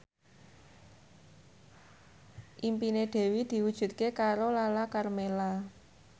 impine Dewi diwujudke karo Lala Karmela